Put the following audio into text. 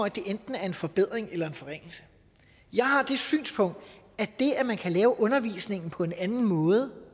at det enten er en forbedring eller en forringelse jeg har det synspunkt at det at man kan lave undervisningen på en anden måde